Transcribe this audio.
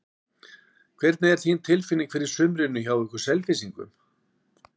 Hvernig er þín tilfinning fyrir sumrinu hjá ykkur Selfyssingum?